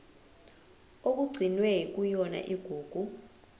okugcinwe kuyona igugu